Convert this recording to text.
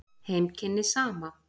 Heimkynni Sama.